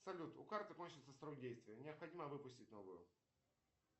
салют у карты кончился срок действия необходимо выпустить новую